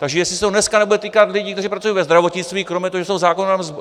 Takže jestli se to dneska nebude týkat lidí, kteří pracuji ve zdravotnictví kromě toho, že jsou